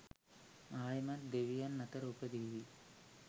ආයෙමත් දෙවියන් අතර උපදීවි.